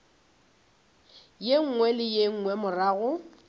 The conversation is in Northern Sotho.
nngwe le ye nngwe morago